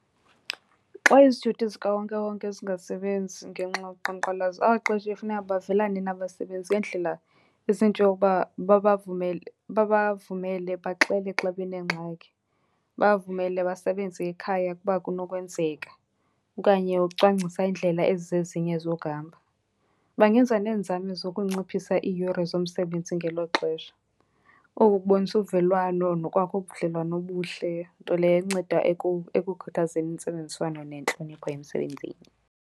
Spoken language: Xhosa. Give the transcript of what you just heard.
Xa izithuthi zikawonkewonke zingasebenzi ngenxa yoqhankqalazo abaqeshi kufuneka bavele nabasebenzi ngeendlela ezinjengokuba babavumele baxele xa benengxaki. Babavumele basebenze ekhaya ukuba kunokwenzeka, okanye ukucwangcisa iindlela ezizezinye zokuhamba. Bangenza neenzame zokunciphisa iiyure zomsebenzi ngelo xesha. Oku kubonisa uvelwano nokwakha ubudlelwane obuhle, nto leyo enceda ekukhuthazeni intsebenziswano nentlonipho emsebenzini.